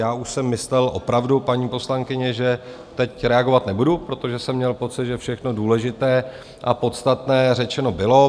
Já už jsem myslel opravdu, paní poslankyně, že teď reagovat nebudu, protože jsem měl pocit, že všechno důležité a podstatné řečeno bylo.